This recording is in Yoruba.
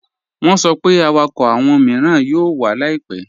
Wọ́n sọ pé àwákọ́ awọn miiràn yóò wà láìpẹ̀.